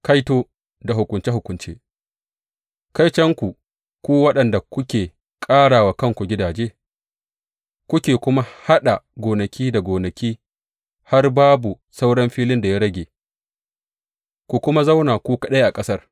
Kaito da hukunce hukunce Kaitonku ku waɗanda kuke ƙara wa kanku gidaje kuke kuma haɗa gonaki da gonaki har babu sauran filin da ya rage ku kuma zauna ku kaɗai a ƙasar.